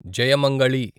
Jayamangali